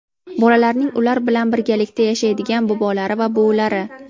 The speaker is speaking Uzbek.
bolalarning ular bilan birgalikda yashaydigan bobolari va buvilari;.